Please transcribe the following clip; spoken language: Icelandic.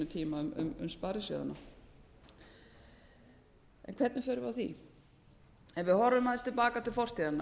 tíma um sparisjóðina hvernig förum við að því ef við horfum aðeins til baka til fortíðarinnar